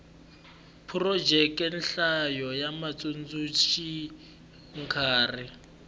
phurojeke nhlayo ya vatsundzuxi nkarhi